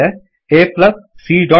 A plus c dots plus B